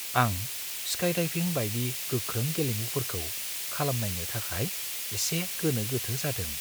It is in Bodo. आं स्काइडाइभिं बायदि गोख्रों गेलेमुफोरखौ खालामनायनो थाखाय एसे गोनो-गोथो जादों।